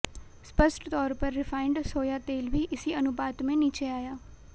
स्पष्ट तौर पर रिफाइंड सोया तेल भी इसी अनुपात में नीचे आया